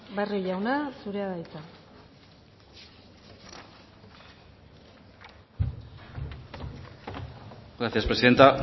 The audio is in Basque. barrio jauna zurea da hitza gracias presidenta